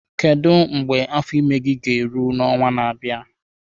Kedu mgbe afọ ime gị ga-eru n'ọnwa na-abịa?